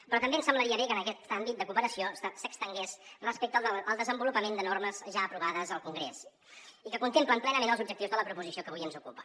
però també ens semblaria bé que aquest àmbit de cooperació s’estengués respecte al desenvolupament de normes ja aprovades al congrés i que contemplen plenament els objectius de la proposició que avui ens ocupa